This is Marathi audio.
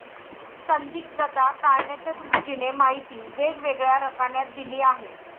संदिग्धता टाळण्याच्या दृष्टीने माहिती वेगवेगळ्या रकान्यात दिली आहे.